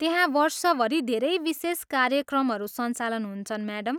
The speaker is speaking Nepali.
त्यहाँ वर्षभरि धेरै विशेष कार्यक्रमहरू सञ्चालन हुन्छन्, म्याडम।